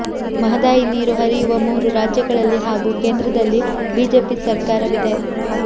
ಮಹದಾಯಿ ನೀರು ಹರಿಯುವ ಮೂರು ರಾಜ್ಯಗಳಲ್ಲಿ ಹಾಗೂ ಕೇಂದ್ರದಲ್ಲಿ ಬಿಜೆಪಿ ಸರ್ಕಾರವಿದೆ